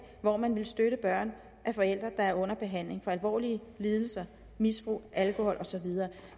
hvor man ville støtte børn af forældre der er under behandling for alvorlige lidelser misbrug alkohol og så videre